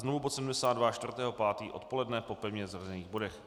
Znovu bod 72, 4. 5. odpoledne po pevně zařazených bodech.